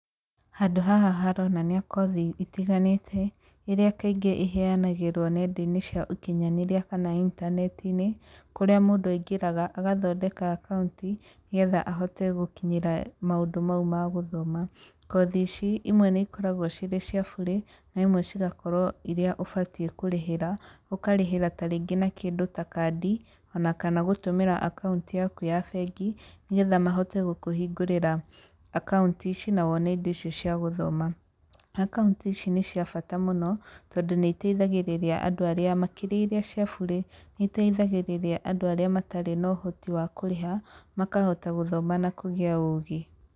Handũ haha haronania kothi itiganĩte, iria kaingĩ iheanagĩrũo nenda-ini cia ũkinyanĩria kana intaneti-inĩ, kũrĩa mũndũ aingĩraga agathondeka akaunti, nĩgetha ahote gũkinyĩra maũndũ mau ma gũthoma. Kothi ici, imwe nĩikoragũo cirĩ cia bure, na imwe cigakorũo iria ũbatie kũrĩhĩra, ũkarĩhĩra ta rĩngĩ na kĩndũ ta kandi, ona kana gũtũmĩra akaunti yaku ya bengi, nĩgetha mahote gũkũhingũrĩra akaunti ici, na wone indo icio cia gũthoma. Akaũntĩ ici nĩ cia bata mũno, tondũ nĩiteithagĩrĩria andũ arĩa makĩria iria cia bure, nĩiteithagĩrĩria andũ arĩa matarĩ na ũhoti wa kũrĩha, makahota gũthoma na kũgĩa ũgĩ.